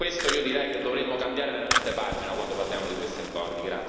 Per questo io direi che dovremmo voltare veramente pagina quando parliamo di simili accordi.